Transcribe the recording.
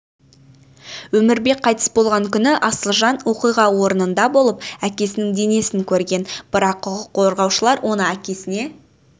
өмірбек қайтыс болған күні асылжан оқиға орнында болып әкесінің денесін көрген бірақ құқық қорғаушылар оны әкесіне